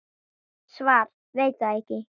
Svar: Veit það ekki.